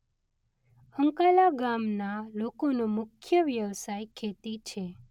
અંકાલા ગામના લોકોનો મુખ્ય વ્યવસાય ખેતી છે.